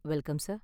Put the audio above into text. Welcome sir.